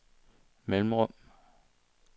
mellemrum